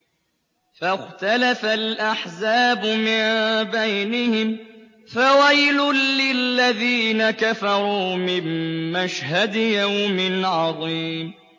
فَاخْتَلَفَ الْأَحْزَابُ مِن بَيْنِهِمْ ۖ فَوَيْلٌ لِّلَّذِينَ كَفَرُوا مِن مَّشْهَدِ يَوْمٍ عَظِيمٍ